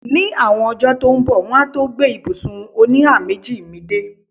Ní àwọn ọjọ́ tó ń bọ̀, wọ́n á tó gbé ibùsùn oníhàméjì mi dé.